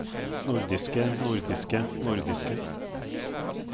nordiske nordiske nordiske